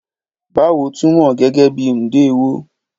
Báwo túmọ̀ gẹ́gẹ́ bí Ndewo